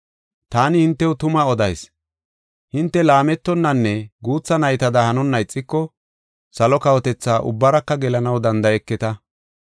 “Taani hintew tuma odayis; hinte laametonnanne guutha naytada hanonna ixiko salo kawotethaa ubbaraka gelanaw danda7eketa.